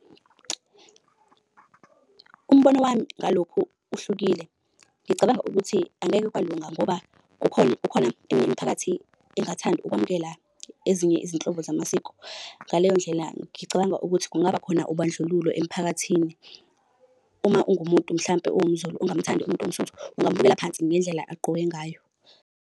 Umbono wami ngalokhu uhlukile. Ngicabanga ukuthi angeke kwalunga ngoba kukhona kukhona eminye imiphakathi engathandi ukwamukela ezinye izinhlobo zamasiko. Ngaleyo ndlela ngicabanga ukuthi kungaba khona ubandlululo emphakathini. Uma ungumuntu mhlampe ungumZulu ungamuthandi umuntu owumSuthu, ungamubukela phansi ngendlela agqoke ngayo.